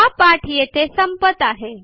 हा पाठ येथे संपत आहे